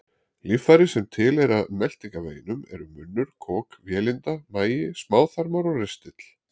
Líffæri sem tilheyra meltingarveginum eru munnur, kok, vélinda, magi, smáþarmar og ristill.